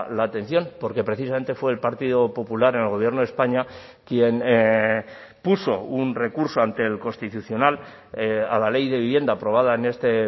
la atención porque precisamente fue el partido popular en el gobierno de españa quien puso un recurso ante el constitucional a la ley de vivienda aprobada en este